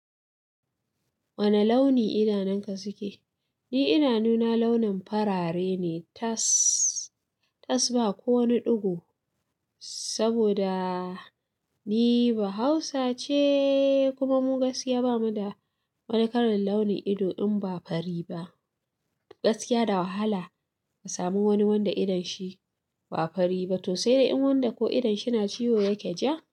Wane launi idanunka suke? Ni idanuna launin farare ne tas ba kowani ɗigo. Saboda ni ba Hausa ce, kuma mu gaskiya ba mu da wani karin launin ido in ba fari ba. Gaskiya da wahala ka sami wani wanda idon shi ba fari ba to sai dai in wanda ko idon shi na ciwo yake ja.